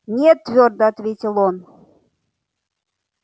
нет твёрдо ответил он